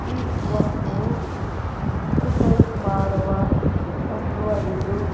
ಈ ವಸ್ತು ಎಕ್ಸರ್ಸೈಜ್ ಮಾಡುವ ವಸ್ತುವಾಗಿದ್ದು --